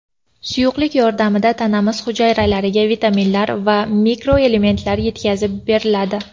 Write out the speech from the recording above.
Suyuqlik yordamida tanamiz hujayralariga vitaminlar va mikroelementlar yetkazib beriladi.